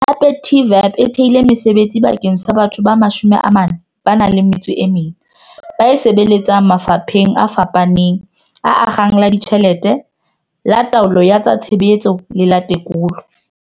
Hape TVEP e thehile mesebetsi bakeng sa batho ba 44 ba e sebeletsang mafapheng a fapaneng a akgang la ditjhelete, la taolo ya tsa tshebetso le la tekolo.